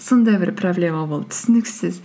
сондай бір проблема болды түсініксіз